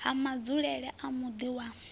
ha madzulele a muḓi wa